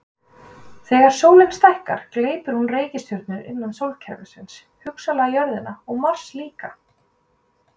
Þegar sólin stækkar gleypir hún reikistjörnur innra sólkerfisins, hugsanlega jörðina og Mars líka.